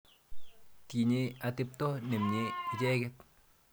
Tinye atepto nemye icheket.